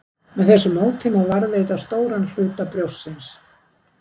Með þessu móti má varðveita stóran hluta brjóstsins.